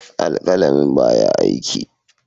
Alƙalamin ba ya aiki.